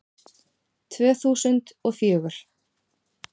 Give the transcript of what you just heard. Tvö þúsund og fjögur